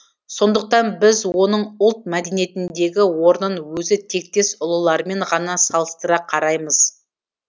сондықтан біз оның ұлт мәдениетіндегі орнын өзі тектес ұлылармен ғана салыстыра қараймыз